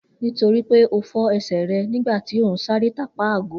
Nitoripe o fọ ẹsẹ rẹ nigba ti o nṣere tapa ago